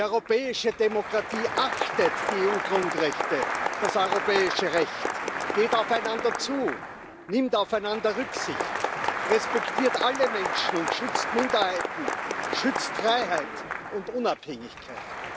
Die europäische Demokratie achtet die EU Grundrechte, das europäische Recht, geht aufeinander zu, nimmt aufeinander Rücksicht, respektiert alle Menschen und schützt Minderheiten, schützt Freiheit und Unabhängigkeit.